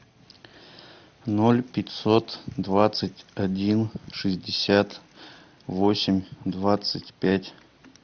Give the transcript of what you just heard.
ноль пятьсот двадцать один шестьдесят восемь двадцать пять